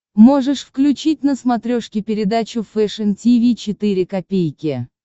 можешь включить на смотрешке передачу фэшн ти ви четыре ка